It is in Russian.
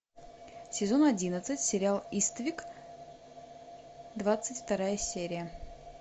сезон одиннадцать сериал иствик двадцать вторая серия